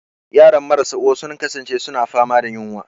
Yaran marasa uwa sun kasance suna fama da yunwa.